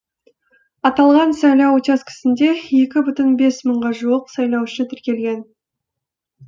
аталған сайлау учаскесінде екі бүтін бес мыңға жуық сайлаушы тіркелген